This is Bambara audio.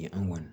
An kɔni